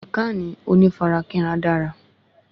Ìkànnì onífarakínra dara